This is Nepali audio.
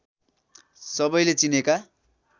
सबैले चिनेका